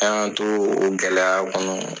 An y'an t'o o gɛlɛya kɔnɔ